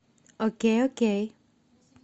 окей окей